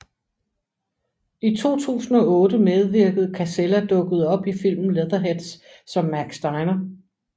I 2008 medvirkede Casella dukkede op i filmen Leatherheads som Mack Steiner